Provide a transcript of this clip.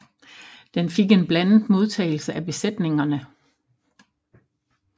Den fik en blandet modtagelse af besætningerne